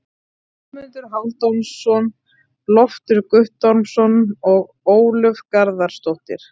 Guðmundur Hálfdanarson, Loftur Guttormsson og Ólöf Garðarsdóttir.